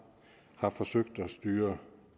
har forsøgt at styre